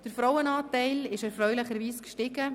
Der Frauenanteil ist erfreulicherweise angestiegen: